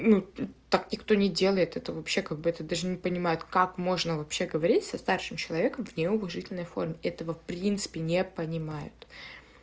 ну так никто не делает это вообще как бы это даже не понимает как можно вообще говорить со старшим человеком в неуважительной форме этого в принципе не понимаю